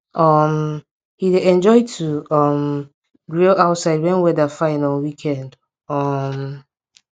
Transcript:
um him dey enjoy to um grill outside when weather fine on weekend um